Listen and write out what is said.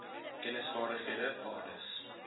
kennis vaardighede waardes